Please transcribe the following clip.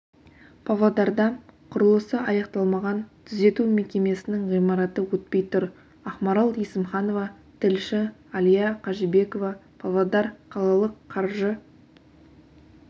павлодарда құрылысы аяқталмаған түзету мекемесінің ғимараты өтпей тұр ақмарал есімханова тілші әлия қажыбекова павлодар қалалық қаржы